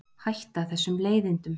Hætta þessum leiðindum.